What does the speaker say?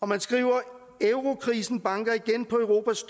man skriver eurokrisen banker igen på europas